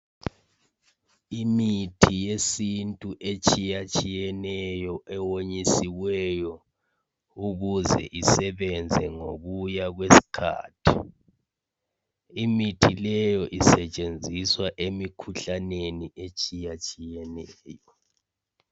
Imithi yesintu etshiyatshiyeneyo ewonyisiweyo ukuze isebenze ngokuya kwesikhathi imithi leyo isetshenziswa emikhuhlaneni etshiyatshiyeneyo.